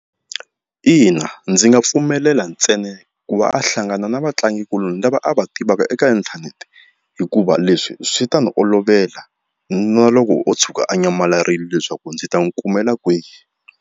Ina, ndzi nga pfumelela ntsena ku va a hlangana na vatlangikuloni lava a va tivaka eka inthanete hikuva leswi swi ta ni olovela na loko o tshuka a nyamalarile leswaku ndzi ta n'wi kumela kwihi.